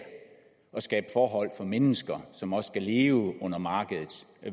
skabe forhold for mennesker som også skal leve under markedets